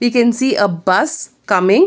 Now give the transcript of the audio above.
We can see a bus coming.